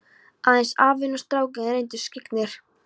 Aðeins afinn og strákurinn reyndust skyggnir.